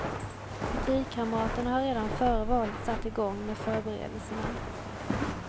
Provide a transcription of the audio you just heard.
Partikamraterna har redan före valet satt igång med förberedelserna.